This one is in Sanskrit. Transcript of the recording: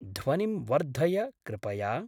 ध्वनिं वर्धय कृपया।